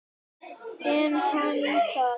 En er hann það?